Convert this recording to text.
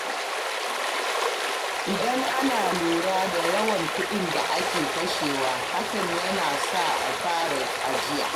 Idan ana lura da yawan kuɗin da ake kashewa, hakan ya na sa a fara ajiya.